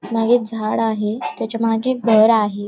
मागे एक झाड आहे त्याच्या मागे घर आहे.